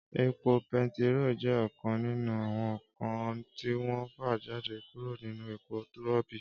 Épó pètíró jè òkán ninú áwòn nkán tiwòn fàjádé kúró ninú épó ròbí